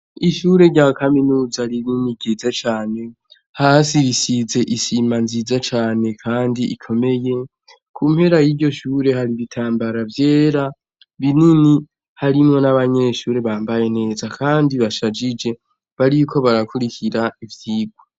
Ishure rya kaminuza rinini ryiza cane, hasi risize isima nziza cane kandi ikomeye, ku mpera y'iryo shure hari ibitambara vyera binini harimwo n'abanyeshure bambaye neza kandi bashajije bariko barakurikira ivyigwa.